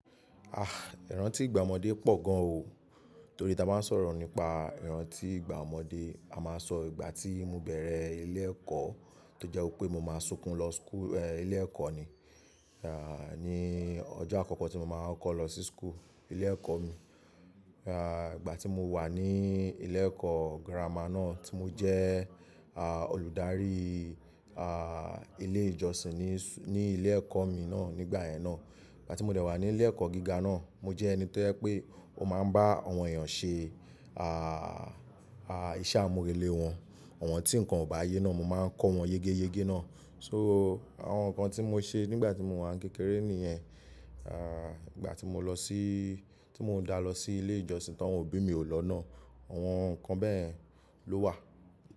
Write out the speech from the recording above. Ah! Ìrántí ìgbà ọmọdé pọ̀ gan o, torí tí a bá ń sọ̀rọ̀ nípa ìrántí ìgbà ọmọdé, a máa sọ ìgbà tí mo bẹ̀rẹ̀ ilé ẹ̀kọ́ tó jẹ́ wípé mo máa sunkún lọ school eeh ilé ẹ̀kọ́ ni, ah ní ọjọ́ àkọ́kọ́ tí mo máa kọkọ lọ sí school, ilé ẹ̀kọ́ mi. Ah ìgbà tí mo wà ní ilé ẹ̀kọ́ girama náà tí mo jẹ olùdarí ah ilé ìjọsìn ní ní ilé ẹ̀kọ́ mi náà nígbà yẹn náà. Ìgbà tí mo dẹ̀ wà ní ilé ẹ̀kọ́ gíga náà, mo jẹ́ ẹni tó jẹ́ pé ó máa ń bá àwọn èèyàn ṣe ah ah iṣẹ́ àmúrelé wọn, àwọn tí nǹkan ò bá yé náà mo máa ń kọ́ wọn yégéyégé náà. So àwọn nǹkan tí mo ṣe nígbà tí mo wà ń kékeré nìyẹn. Ah ìgbà tí mo lọ sí tí mo dà lọ sí ilé ìjọsìn tí wọ́n ò bí mi ò lọ náà, àwọn nǹkan bẹ́ẹ̀ ló wà.